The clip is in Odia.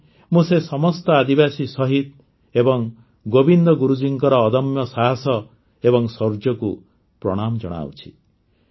ଆଜି ମୁଁ ସେ ସମସ୍ତ ଆଦିବାସୀ ଶହୀଦ ଏବଂ ଗୋବିନ୍ଦ ଗୁରୁଜୀଙ୍କର ଅଦମ୍ୟ ସାହସ ଏବଂ ଶୌର୍ଯ୍ୟକୁ ପ୍ରଣାମ ଜଣାଉଛି